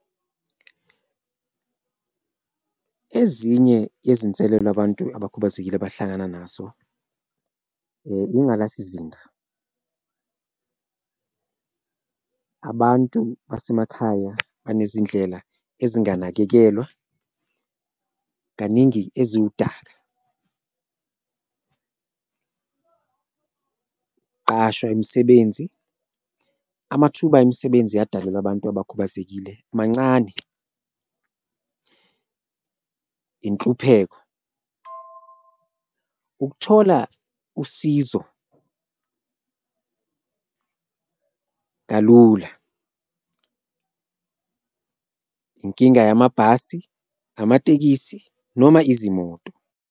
Ezinye izinselelo abantu abakhubazekile abahlangana nazo ngkkwengalasizinda abantu basemakhaya banezindlela ezinganakekelwa kaningi eziwudaka, qashwe imisebenzi, amathuba emisebenzi adalelwe abantu abakhubazekile mancane. Inhlupheko ukuthola usizo kalula, inkinga yamabhasi, amatekisi noma izimoto.